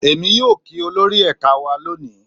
Èmi yóò kí olórí ẹ̀ka wa lónìí